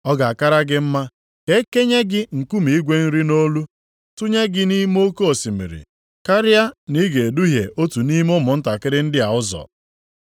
Ọ ga-akara gị mma ka e kenye gị nkume igwe nri nʼolu, tụnye gị nʼime oke osimiri, karịa na ị ga-eduhie otu nʼime ụmụntakịrị ndị a ụzọ.